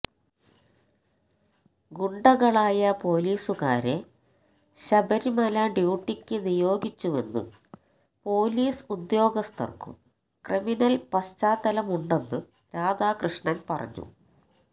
ഗുണ്ടകളായ പൊലീസുകാരെ ശബരിമല ഡ്യൂട്ടിക്ക് നിയോഗിച്ചുവെന്നും പോലീസ് ഉദ്യോഗസ്ഥർക്കും ക്രിമിനൽ പശ്ചാത്തലമുണ്ടെന്നും രാധാകൃഷ്ണൻ പറഞ്ഞു